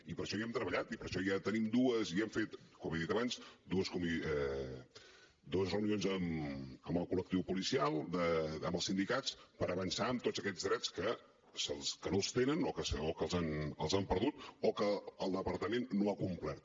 i per això hi hem treballat i per això ja hem fet com he dit abans dues reunions amb el col·lectiu policial amb els sindicats per avançar en tots aquests drets que no els tenen o que els han perdut o que el departament no ha complert